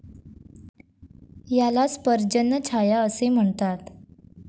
यालाच पर्जन्यछाया असे म्हणतात.